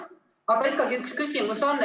Aga ikkagi üks küsimus on.